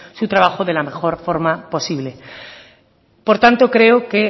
su trabajo de la mejor forma posible por tanto creo que